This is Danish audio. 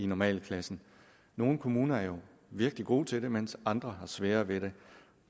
normalklassen nogle kommuner er jo virkelig gode til det mens andre har sværere ved det